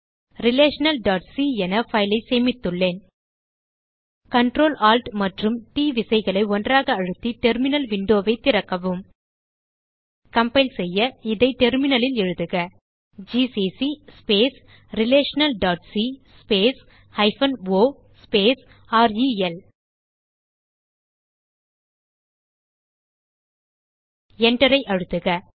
relationalசி என பைல் ஐ சேமித்துள்ளேன் Ctrl Alt மற்றும் ட் விசைகளை ஒன்றாக அழுத்தில் டெர்மினல் விண்டோ ஐ திறக்கவும் கம்பைல் செய்ய இதை டெர்மினல் லில் எழுதுக ஜிசிசி relationalசி o ரெல் Enter ஐ அழுத்துக